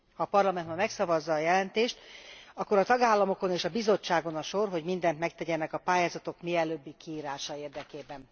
Ha a Parlament ma megszavazza a jelentést, akkor a tagállamokon és a Bizottságon a sor, hogy mindent megtegyenek a pályázatok mielőbbi kiírása érdekében.